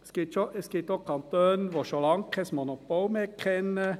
Es gibt auch Kantone, die schon lange kein Monopol mehr kennen: